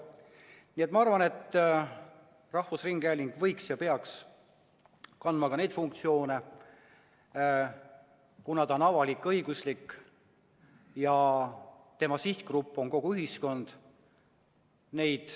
Nii et ma arvan, et rahvusringhääling võiks ja peaks kandma ka neid funktsioone, kuna ta on avalik-õiguslik ja tema sihtgrupp on kogu ühiskond.